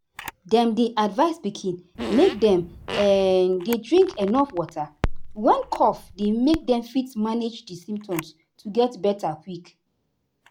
dem dey advise pikin make dem um dey drink enuf water when cough dey make dem fit manage di symptoms to get beta quick.